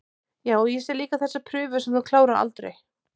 Já, og ég sé líka þessa prufu sem þú klárar aldrei